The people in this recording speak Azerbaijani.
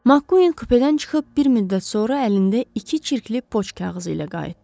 MakKueen kupedən çıxıb bir müddət sonra əlində iki çirkli poçt kağızı ilə qayıtdı.